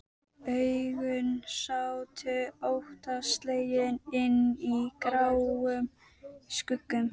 Augun sátu óttaslegin inni í gráum skuggum.